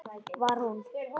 Var hún?!